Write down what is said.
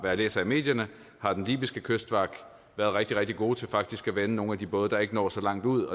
jeg læser i medierne har den libyske kystvagt været rigtig rigtig god til rent faktisk at vende nogle af de både der ikke når så langt ud